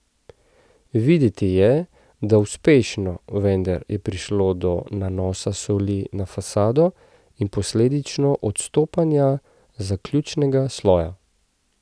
Videti je, da uspešno, vendar je prišlo do nanosa soli na fasado in posledično odstopanja zaključnega sloja.